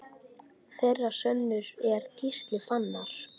Þeirra sonur er Gísli Fannar.